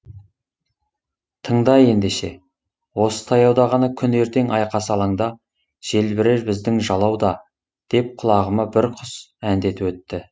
тыңда ендеше осы таяуда ғана күні ертең айқас алаңда желбірер біздің жалау да деп құлағыма бір құс әндетіп өтті